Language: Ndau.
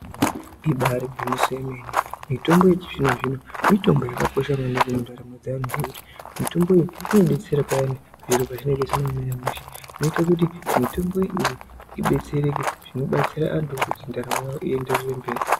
Ibari gwinyiso yemene, mitombo yechizvino zvino mitombo yakakosha maningi mundaramo dzevanhu ngekuti mitombo iyi inodetsera payani zviro pazvinenge zvisina kumira mushe. Zvinoita kuti mitombo iyi idetsereke zvinobatsira antu ngekuti ndaramo yawo ienderere mberi.